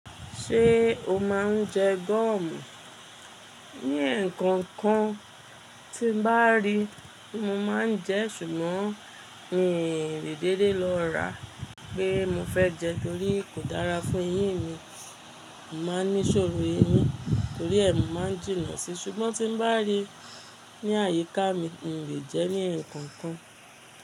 Ṣé o máa ń jẹ gọ̀mù? Ní ǹkan kan tí bá rí mo máa ń jẹ, ṣùgbọ́n n ò lè dédé lọ́ ra pé mo fẹ́ jẹ torí kò dára fún eyín mi. Máa ń ní ṣòro eyín torí ẹ̀mù máa ń jìnnà síi. Ṣùgbọ́n tí bá rí ní àyíká mi n ò lè jẹ ní ǹkan kan.